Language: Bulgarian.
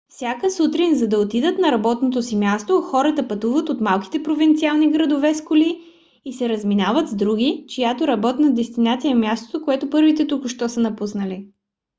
всяка сутрин за да отидат на работното си място хората пътуват от малките провинциални градове с коли и се разминават с други чиято работна дестинация е мястото което първите току-що са напуснали